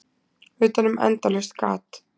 Utanum endalaust gat.